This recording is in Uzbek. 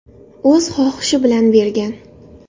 O‘z xohishi bilan bergan.